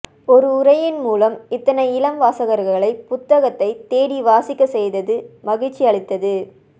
ஒரு உரையின் மூலம் இத்தனை இளம் வாசகர்களை புத்தகத்தை தேடி வாசிக்க செய்தது மகிழ்ச்சி அளித்தது